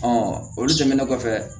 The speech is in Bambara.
olu tɛmɛnen kɔfɛ